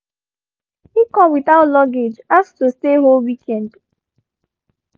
he come without luggage ask to stay whole weekend